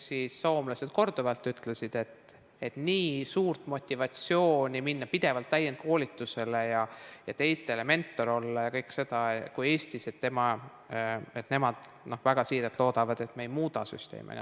Soomlased ju korduvalt ütlesid, et Eestis on nii suur motivatsioon käia pidevalt täienduskoolitusel, teistele mentor olla ja kõike seda teha, ja nemad väga siiralt loodavad, et me ei muuda süsteemi.